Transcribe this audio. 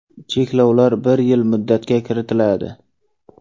Cheklovlar bir yil muddatga kiritiladi.